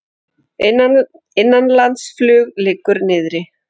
Innanlandsflug liggur niðri